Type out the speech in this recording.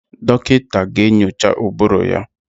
Dọkịta ga-enyocha ụbụrụ ya.